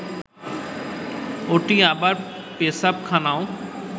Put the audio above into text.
ওটি আবার পেশাবখানাও